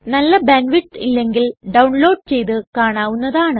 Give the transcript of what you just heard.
നല്ല bandwidth ഇല്ലെങ്കിൽ download ചെയ്തു കാണാവുന്നതാണ്